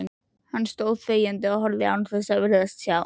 Hann stóð þegjandi og horfði án þess að virðast sjá.